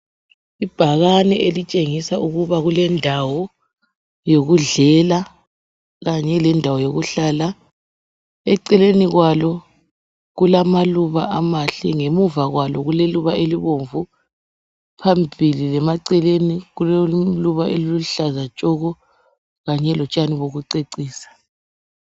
Ibhakane elitshengisa ukuba kulendawo yokudlela kanye lendawo yokuhlala. Eceleni kwalo kulamaluba amahle. Ngemuva kwalo kuleluba elibomvu, phambili lemaceleni kukelinye iluba eliluhlaza tshoko kanye lotshani bokucecisa.